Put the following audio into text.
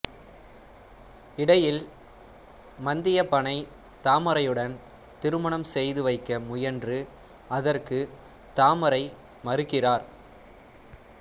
இடையில் மந்தியப்பனை தாமரையுடன் திருமணம் செய்து வைக்க முயன்று அதற்கு தாமரை மறுக்கிறார்